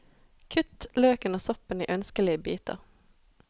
Kutt løken og soppen i ønskelige biter.